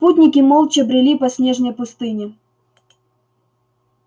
путники молча брели по снежной пустыне